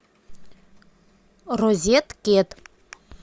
розеткед